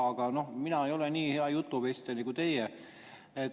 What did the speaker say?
Aga mina ei ole nii hea jutuvestja nagu teie.